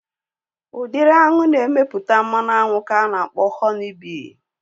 Udịri aṅụ na-emepụta mmanụ aṅụ ka ana akpọ Họni bii